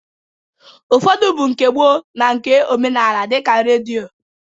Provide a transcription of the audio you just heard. Ụfọdụ bụ nke gboo na nke omenaala dịka redio